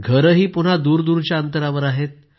घरंही पुन्हा दूरदूरच्या अंतरावर आहेत